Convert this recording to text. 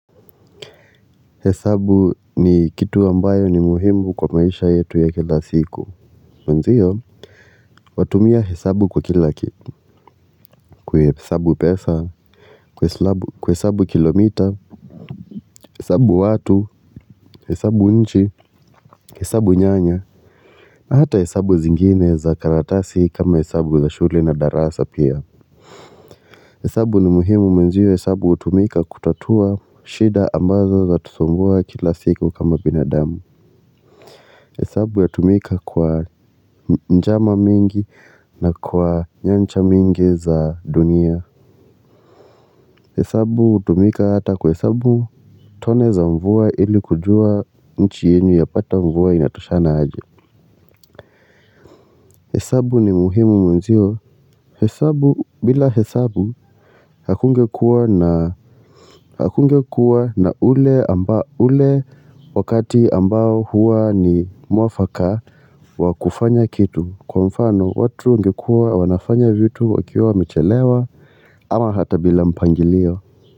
Hesabu ni kitu ambayo ni muhimu kwa maisha yetu ya kila siku mwenzio watumia hesabu kwa kila kitu kuwe hesabu pesa ku hesabu kilomita hesabu watu hesabu nchi hesabu nyanya na hata hesabu zingine za karatasi kama hesabu za shule na darasa pia hesabu ni muhimu mwenzio hesabu utumika kutatua shida ambazo za tusumbua kila siku kama binadamu hesabu ya tumika kwa njama mingi na kwa nyancha mingi za dunia. Hesabu utumika hata ku hesabu tone za mvua ili kujua nchi yenyu ya pata mvua inatoshana aje. Hesabu ni muhimu mwenzio. Hesabu bila hesabu hakungekuwa na ule wakati ambao huwa ni mwafaka wa kufanya kitu. Kwa mfano watu ngekuwa wanafanya vitu wakiwa wamechelewa ama hata bila mpangilio.